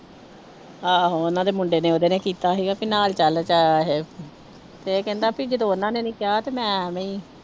ਆਹੋ ਉਹਨਾਂ ਦੇ ਮੁੰਡੇ ਨੇ ਉਹਦੇ ਨੇ ਕੀਤਾ ਸੀਗਾ ਵੀ ਨਾਲ ਚੱਲ ਤੇ ਇਹ ਤੇ ਇਹ ਕਹਿੰਦਾ ਵੀ ਜਦੋਂ ਉਹਨਾਂ ਨੇ ਨੀ ਕਿਹਾ ਤੇ ਮੈਂ ਐਵੇਂ ਹੀ